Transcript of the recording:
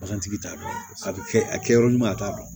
Bagantigi t'a dɔn a bɛ kɛ a kɛ yɔrɔ ɲuman ye a t'a dɔn